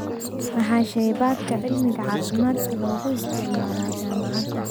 Maxaa shaybaadhka cilmiga caafimaadka loogu isticmaalayaa jaamacadda?